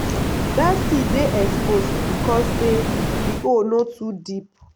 dat seed dey expose because say di hole no too deep.